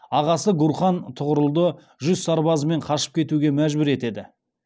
ағасы гурхан тұғырылды жүз сарбазымен қашып кетуге мәжбүр етеді